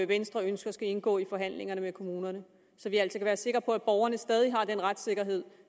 venstre ønsker skal indgå i forhandlingerne med kommunerne så vi altså kan være sikre på at borgerne stadig har den retssikkerhed